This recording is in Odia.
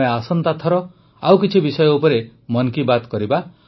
ଆମେ ଆସନ୍ତା ଥର ଆଉ କିଛି ବିଷୟ ଉପରେ ମନ୍ କୀ ବାତ୍ କରିବା